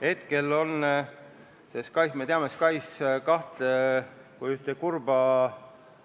Me teame SKAIS2 kui ühte kurba